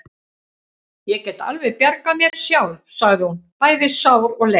Ég get alveg bjargað mér sjálf, sagði hún, bæði sár og leið.